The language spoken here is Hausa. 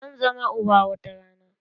Zan zama uba wata rana